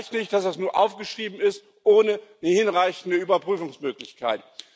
Es reicht nicht, dass das nur aufgeschrieben ist ohne eine hinreichende Überprüfungsmöglichkeit.